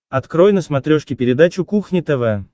открой на смотрешке передачу кухня тв